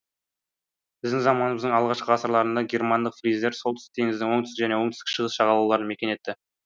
біздің заманымыздың алғашқы ғасырларында германдық фриздер солтүстік теңіздің оңтүстік және оңтүстік шығыс жағалауларын мекен етті